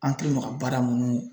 An kɛlen no ka baara minnu